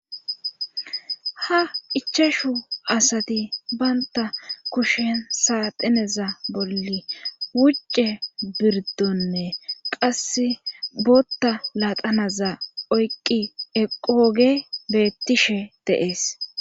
Ha ichashu asati baynta kushen saatineza bolli wucce birdonne qasse bootta latanaza oyqqi eqoge beettishe dees.